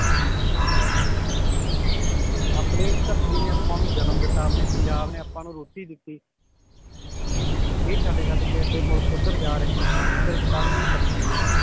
ਆਪਣੀ ਧਰਤੀ ਨੇ ਆਪਾਂ ਨੂੰ ਜਨਮ ਦਿੱਤਾ ਆਪਣੇ ਪੰਜਾਬ ਨੇ ਆਪਾਂ ਨੂੰ ਰੋਟੀ ਦਿੱਤੀ ਇਹ ਛੱਡ ਛੱਡ ਕੇ ਏਡੇ ਮੁਲਕ ਓਧਰ ਜਾ ਰਹੇ ਨੇ ਹਾਂ ਜੀ ਸਿਰਫ ਕਾਦੇ ਲਈ ਧਰਤੀ ਲਈ